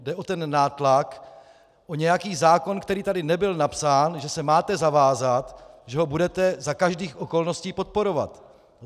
Jde o ten nátlak, o nějaký zákon, který tady nebyl napsán, že se máte zavázat, že ho budete za každých okolností podporovat.